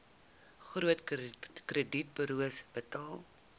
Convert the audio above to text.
groot kredietburos betaal